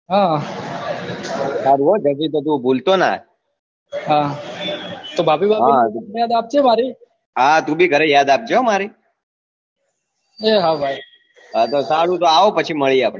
હમ સારું હો ભુલ તો ના હા ભાભી ને યાદ આપજે મારી તુ ભી યાદ આપજે ઘરે મારી એ હા ભાઈ સારું તો આવ પછી મળીયે